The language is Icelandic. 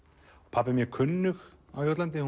pabbi er mjög kunnug á Jótlandi